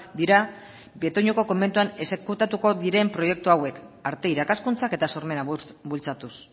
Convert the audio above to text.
dira betoñoko komentuan exekutatuko diren proiektu hauek arte irakaskuntzak eta sormena bultzatuz